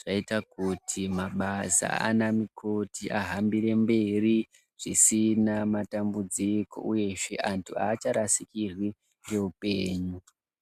zvaita kuti mabasa aana mukoti ahambire mberi zvisina matambudziko uyezve antu aacharasikirwi ngeupenyu.